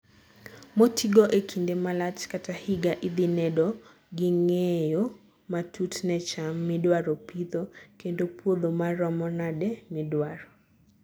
motigo e kinde malach kata higa idhi nedo gi ng'eyo matut ne cham midwaro pidho kendo puodho maromo nade midwaro